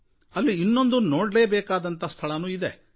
ಅಲ್ಲಿ ನೋಡಲೇ ಬೇಕಾದ ಇನ್ನೊಂದು ಸ್ಥಳಾನೂ ಇದೆ